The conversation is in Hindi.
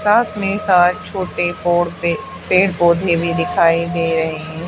साथ में शायद छोटे पोरते पेड़ पौधे भी दिखाई दे रहे--